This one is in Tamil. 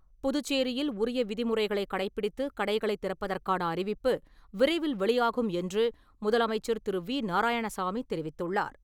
புதுச்சேரியில், உரிய விதிமுறைகளை கடைபிடித்து கடைகளை திறப்பதற்கான அறிவிப்பு, விரைவில் வெளியாகும் என்று, முதலமைச்சர் திரு.வி.நாராயணசாமி தெரிவித்துள்ளார்.